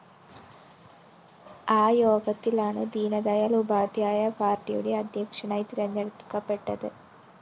ആ യോഗത്തിലാണ് ദീനദയാല്‍ ഉപാദ്ധ്യായ പാര്‍ട്ടിയുടെ അദ്ധ്യക്ഷനായി തെരഞ്ഞെടുക്കപ്പെട്ടത്